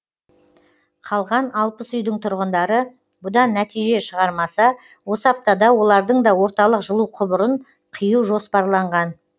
қалған үйдің тұрғындары бұдан нәтиже шығармаса осы аптада олардың да орталық жылу құбырын қию жоспарланған